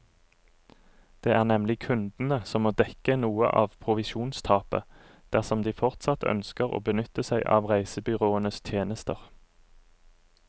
Det er nemlig kundene som må dekke noe av provisjonstapet, dersom de fortsatt ønsker å benytte seg av reisebyråenes tjenester.